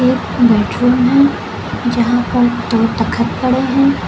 एक बेडरूम है यहां पर दो तख़त पड़े हैं।